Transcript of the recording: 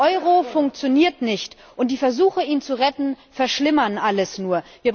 Der Euro funktioniert nicht, und die Versuche, ihn zu retten, verschlimmern alles nur.